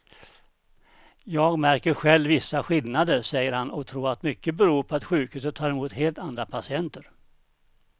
Jag märker själv vissa skillnader, säger han och tror att mycket beror på att sjukhuset tar emot helt andra patienter.